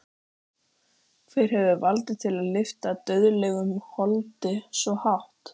Hver hefur vald til að lyfta dauðlegu holdi svo hátt?